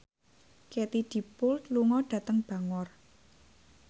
Katie Dippold lunga dhateng Bangor